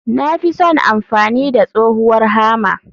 Na fi son amfani da tsohuwar Hammer.